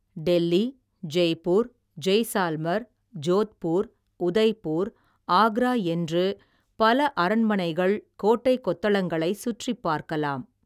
டெல்லி ஜெய்ப்பூர் ஜெய்சால்மர் ஜோத்பூர் உதய்ப்பூர் ஆக்ரா என்று பல அரண்மனைகள் கோட்டை கொத்தளங்களைச் சுற்றிப் பார்க்கலாம்.